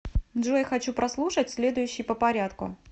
джой хочу прослушать следующий по порядку